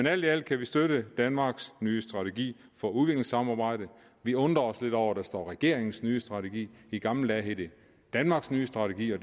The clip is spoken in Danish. alt i alt kan vi støtte danmarks nye strategi for udviklingssamarbejde vi undrer os lidt over at der står regeringens nye strategi i gamle dage hed det danmarks nye strategi